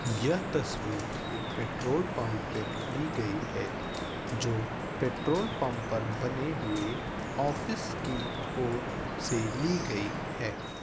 यह तस्वीर एक पेट्रोल पंप पर ली गयी है जो पेट्रोल पंप पर बने हुए आफिस की ओर से ली गई है।